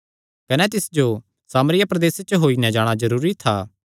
कने तिस जो सामरिया प्रदेसे च होई नैं जाणा जरूरी था